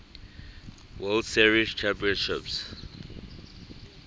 world series championship